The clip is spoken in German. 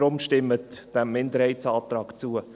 Deshalb: Stimmen Sie diesem Minderheitsantrag zu.